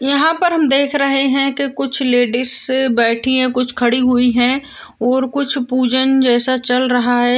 यहाँ पर हम देख रहे हैं कि कुछ लेडिस बैठी है कुछ खड़ी है और कुछ पूजन जैसा चल रहा है।